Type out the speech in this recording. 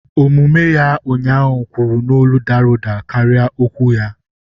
Omume ya ụnyaahụ kwuru n'olu dara ụda karịa okwu ya.